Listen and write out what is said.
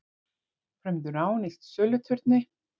Frömdu rán í söluturni